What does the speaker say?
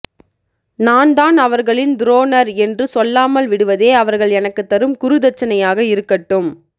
நான் தான் அவர்களின் துரோணர் என்று சொல்லாமல் விடுவதே அவர்கள் எனக்குத் தரும் குரு தட்சணையாக இருக்கட்டும்